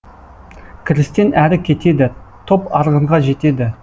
кірістен әрі кетеді топ арғынға жетеді